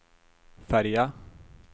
färja